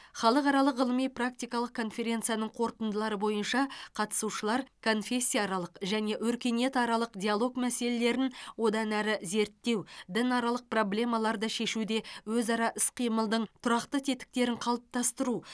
халықаралық ғылыми практикалық конференцияның қорытындылары бойынша қатысушылар конфессияаралық және өркениетаралық диалог мәселелерін одан әрі зерттеу дінаралық проблемаларды шешуде өзара іс қимылдың тұрақты тетіктерін қалыптастыру